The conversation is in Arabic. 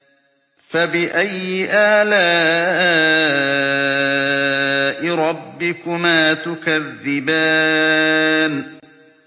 فَبِأَيِّ آلَاءِ رَبِّكُمَا تُكَذِّبَانِ